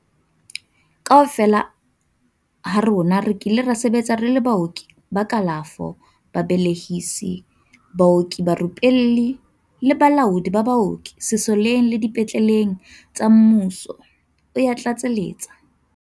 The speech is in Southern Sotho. "Kaofela ha rona re kile ra sebetsa re le baoki ba kalafo, babe lehisi, baoki barupelli le balaodi ba baoki sesoleng le dipetle leng tsa mmuso," o ya tlatseletsa.